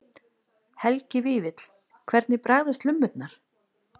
Helgi Vífill: Hvernig bragðast lummurnar?